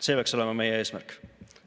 See peaks olema meie eesmärk.